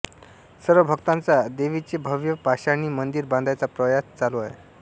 सर्व भक्तांचा देवीचे भव्य पाषाणी मंदिर बांधायचा प्रयास चालू आहे